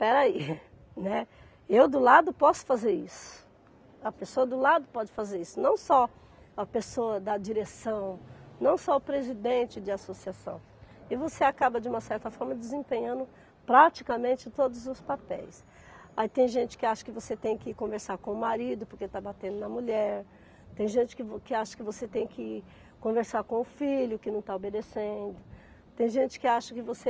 Espera aí, né, eu do lado posso fazer isso a pessoa do lado pode fazer isso não só a pessoa da direção não só o presidente de associação e você acaba de uma certa forma desempenhando praticamente todos os papéis aí tem gente que acha que você tem que conversar com o marido porque está batendo na mulher tem gente que vo que acha que você tem que conversar com o filho que não está obedecendo tem gente que acha que você